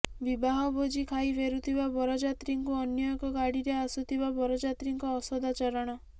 ବିବାହ ଭୋଜି ଖାଇ ଫେରୁଥିବା ବରଯାତ୍ରୀଙ୍କୁ ଅନ୍ୟ ଏକ ଗାଡିରେ ଆସୁଥିବା ବରଯାତ୍ରୀଙ୍କ ଅସଦାଚରଣ